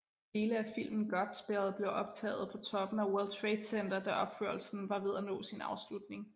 Dele af filmen Godspell blev optaget på toppen af World Trade Center da opførelsen var ved at nå sin afslutning